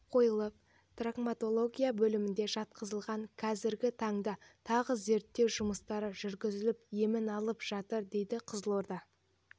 қойылып травматология бөліміне жатқызылған қазіргі таңда тағы зерттеу жұмыстары жүргізіліп емін алып жатыр дейді қызылорда